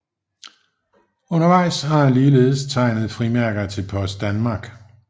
Undervejs har han ligeledes tegnet frimærker til Post Danmark